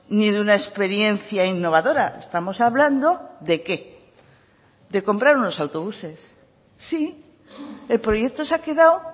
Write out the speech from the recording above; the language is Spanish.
ni de una experiencia innovadora estamos hablando de qué de comprar unos autobuses sí el proyecto se ha quedado